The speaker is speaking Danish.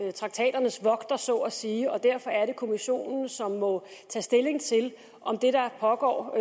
er traktaternes vogter så at sige og derfor er det kommissionen som må tage stilling til om det der pågår